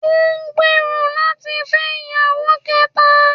Ó n gbèèrò láti fẹ́ ìyàwó kẹta